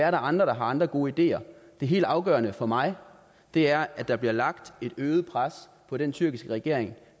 er andre der har andre gode ideer det helt afgørende for mig er at der bliver lagt et øget pres på den tyrkiske regering